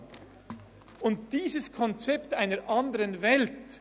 Die heutige Situation, das heutige Konzept ist das einer anderen Welt: